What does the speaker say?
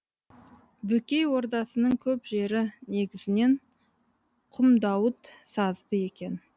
бөкей ордасының көп жері негізінен құмдауыт сазды екен